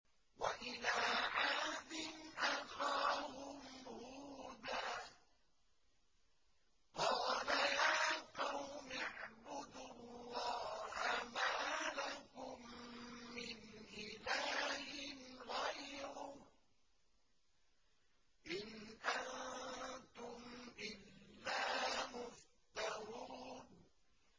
وَإِلَىٰ عَادٍ أَخَاهُمْ هُودًا ۚ قَالَ يَا قَوْمِ اعْبُدُوا اللَّهَ مَا لَكُم مِّنْ إِلَٰهٍ غَيْرُهُ ۖ إِنْ أَنتُمْ إِلَّا مُفْتَرُونَ